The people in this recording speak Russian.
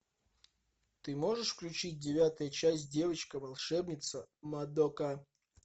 ты можешь включить девятая часть девочка волшебница мадока